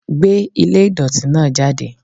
Gbé ilé ìdọ̀tí náà jáde.